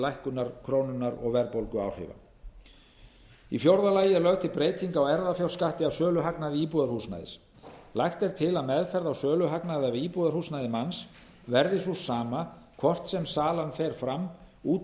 lækkunar krónunnar og verðbólguáhrifa í fjórða lagi er lögð til breyting á erfðafjárskatti af söluhagnaði íbúðarhúsnæðis lagt er til að meðferð á söluhagnaði af íbúðarhúsnæði manns verði sú sama hvort sem salan fer fram út